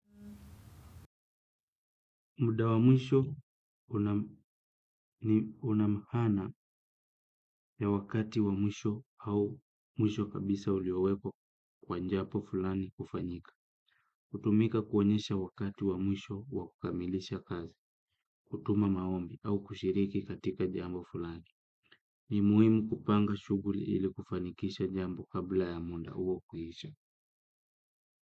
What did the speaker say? Muda wa mwisho una maana ya wakati wa mwisho au mwisho kabisa uliowekwa kwa jambo fulani kufanyika. Kutumika kuonyesha wakati wa mwisho wa kukamilisha kazi, kutuma maombi au kushiriki katika jambo fulani. Ni muhimu kupanga shuguli ili kufanyikisha jambo kabla ya muda huo kuisha.